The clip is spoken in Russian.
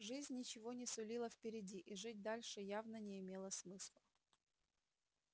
жизнь ничего не сулила впереди и жить дальше явно не имело смысла